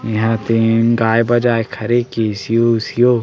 ये हा तेन गाये-बजाये के हरे केसियो उसियो--